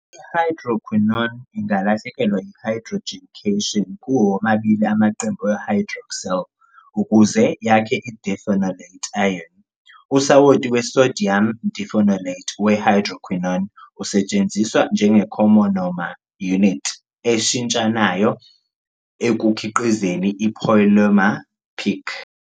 I-Hydroquinone ingalahlekelwa yi-hydrogen cation kuwo womabili amaqembu e-hydroxyl ukuze yakhe i-diphenolate ion. Usawoti we-disodium diphenolate we-hydroquinone usetshenziswa njenge-comonomer unit eshintshanayo ekukhiqizeni i-polymer PEEK.